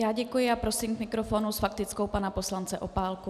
Já děkuji a prosím k mikrofonu s faktickou pana poslance Opálku.